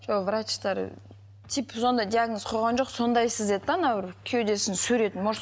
жоқ врачтар типі сондай диагноз қойған жоқ сондайсыз деді де анау бір кеудесін суретін может